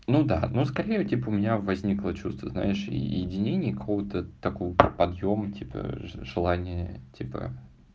ну да ну скорее типа у меня возникло чувство знаешь и единение кого-то такого подъёма типа желания типа